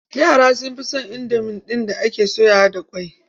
Yara sun fi son indomi ɗin da ake soyawa da ƙwai.